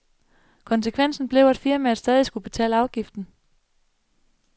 Konsekvensen blev, at firmaet stadig skulle betale afgiften.